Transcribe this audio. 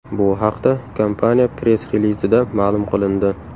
Bu haqda kompaniya press-relizida ma’lum qilindi.